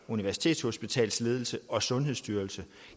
universitetshospitals ledelse og sundhedsstyrelsen